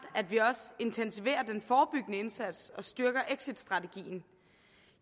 at vi også intensiverer den forebyggende indsats og styrker exitstrategien